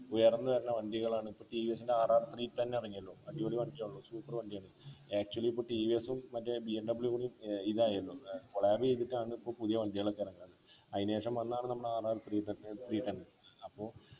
ഉയർന്നു വരുന്ന വണ്ടികളാണ് ടി വി എസ്ൻ്റെ rr three ten ആണെങ്കിലും അടിപൊളി വേണ്ടിയാണല്ലോ super വണ്ടിയാണ് actually ഇപ്പൊ ടി വി എസ്ഉം മറ്റേ ബി എം ഡബള്യു പോലെ ഏർ ഇതായല്ലോ ഏർ collaboration ചെയ്തിട്ടാണ് പ്പോ പുതിയ വണ്ടികളൊക്കെ ഇറങ്ങുന്നത് അയിന് ശേഷം വന്നതാണ് നമ്മളെ rr three ten uh three ten അപ്പൊ